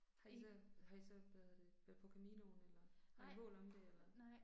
Har I så, har I så, hvad hedder det, været på Caminoen eller har I mål om det eller?